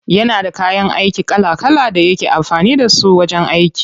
Yana da kayan aiki kala kala da yake amfani da su wajen yin aiki.